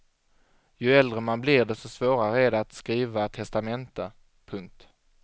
Ju äldre man blir desto svårare är det att skriva testamente. punkt